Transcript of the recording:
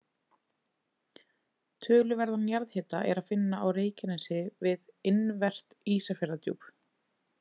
Töluverðan jarðhita er að finna á Reykjanesi við innanvert Ísafjarðardjúp.